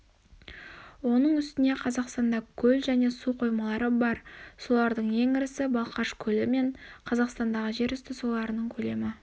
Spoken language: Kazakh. оның үстіне қазақстанда көл және су қоймалары бар солардың ең ірісі балқаш көлі қазақстандағы жер үсті суларының көлемі